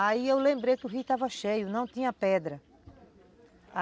Aí eu lembrei que o rio estava cheio, não tinha pedra.